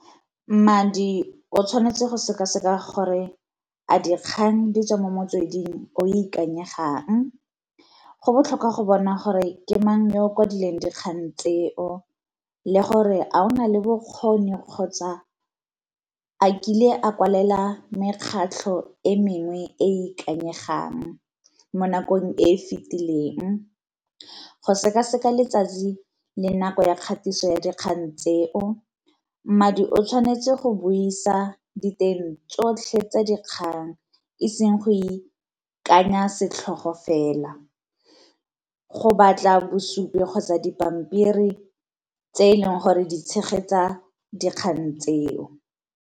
Mmadi o tshwanetse go seka-seka gore a dikgang di tswa mo motsweding o ikanyegang. Go botlhokwa go bona gore ke mang yo kwadileng dikgang tseo, le gore a o nale bokgoni kgotsa a kile a kwalela mekgatlho e mengwe e e ikanyegang mo nakong e e fitileng. Go seka-seka letsatsi le nako ya kgatiso ya dikgang tseo, mmadi o tshwanetse go buisa diteng tsotlhe tsa dikgang eseng go ikanya setlhogo fela, go batla bosupi kgotsa dipampiri tse eleng gore di tshegetsa dikgang tseo.